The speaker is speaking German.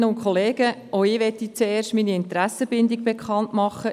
Auch ich möchte als Erstes meine Interessenbindung bekannt geben.